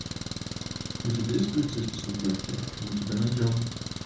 у тебя есть полицейский с рублевки мы тебя найдем